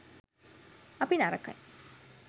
අපි නරකයි